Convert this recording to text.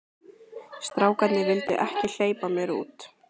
Strákarnir vildu ekki hleypa mér út.